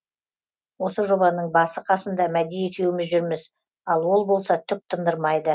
осы жобаның басы қасында мәди екеуміз жүрміз ал ол болса түк тындырмайды